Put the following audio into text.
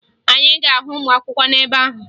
Anyị ga-ahụ ụmụakwụkwọ n'ebe ahụ